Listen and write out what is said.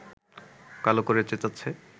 কালো করে চেঁচাচ্ছে